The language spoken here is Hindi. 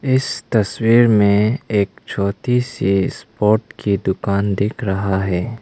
इस तस्वीर में एक छोटी सी स्पोर्ट की दुकान दिख रहा है।